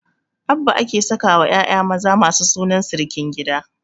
Abba ake sakawa ƴaƴa maza masu sunan sirikin gidan